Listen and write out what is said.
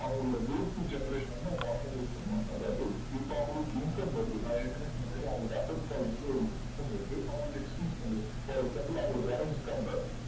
அவங்களோட வீட்டு generation வந்து அவங்க actimate பண்ணுவாங்க அதாவது இப்போ அவங்களுக்கு income வருது நா ஏற்கனவே சொன்னமாதிரி அவங்களுக்கு office ல இருந்து income வருது அவங்களுக்க expose பண்ணிட்டு